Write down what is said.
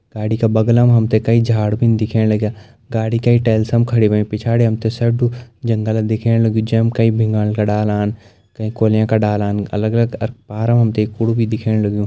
गाड़ी का बगल मा हम त कई झाड़ भी दिखेण लग्यां गाड़ी कै टाइल्स मा खड़ी होयीं पिछड़ी हम त सेडू जंगल दिखेण लग्युं जैम कही भिमाल डालान कही कुलें का डालान अलग अलग अर पार मा हम त एक कूड़ा भी दिखेण लग्युं।